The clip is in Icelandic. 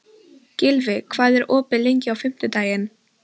Gylfi, hvað er opið lengi á fimmtudaginn?